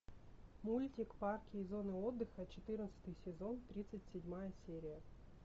мультик парки и зоны отдыха четырнадцатый сезон тридцать седьмая серия